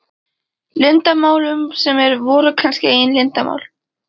Leyndarmálum sem voru kannski engin leyndarmál.